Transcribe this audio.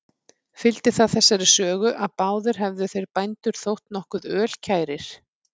Fylgdi það þessari sögu, að báðir hefðu þeir bændur þótt nokkuð ölkærir.